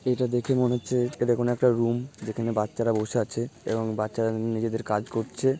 এটা দেখে মনে হচ্ছে এরকম একটা রুম যেখানে বাচ্চারা বসে আছে এবং বাচ্চারা নিজেদের কাজ করছে।